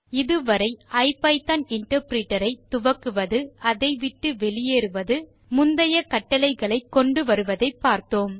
இது வரை ஐபிதான் இன்டர்பிரிட்டர் ஐ துவக்குவது அதைவிட்டு வெளியேறுவது முந்தைய கட்டளைகளை கொண்டு வருவதை பார்த்தோம்